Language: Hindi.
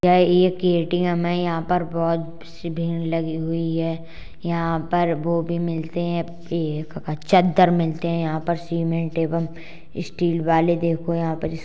यह एक एटीएम है। यहाँ पर बहोत-सी भीड़ लगी हुई है। यहाँ पर वो भी मिलते हैं। एक चद्दर मिलते हैं यहाँ पे सिमेंट एवम स्टील वाले देखो यहाँ पर।